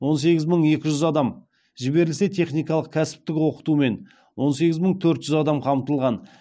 он сегіз мың екі жүз адам жіберілсе техникалық кәсіптік оқытумен он сегіз мың төрт жүз адам қамтылған